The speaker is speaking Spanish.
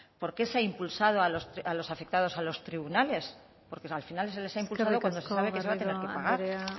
por qué se ha impulsado a los afectados a los tribunales porque al final se les ha imputado cuando se sabe que se les va a tener que pagar eskerrik asko